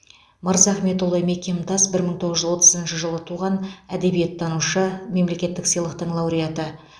мырзахметұлы мекемтас бір мың тоғыз жүз отызыншы жылы туған әдебиеттанушы мемлекеттік сыйлықтың лауреаты